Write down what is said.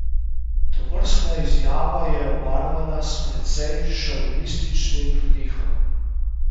Tovrstna izjava je obarvana s precej šovinističnim pridihom.